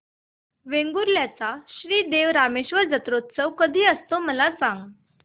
वेंगुर्ल्या चा श्री देव रामेश्वर जत्रौत्सव कसा असतो मला सांग